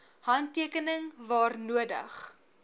handtekening waar nodig